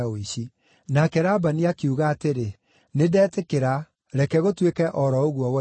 Nake Labani akiuga atĩrĩ, “Nĩndetĩkĩra; reke gũtuĩke o ro ũguo woiga.”